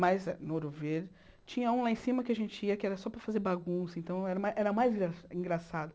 Mas no Ouro Verde, tinha um lá em cima que a gente ia, que era só para fazer bagunça, então era ma era mais engra engraçado.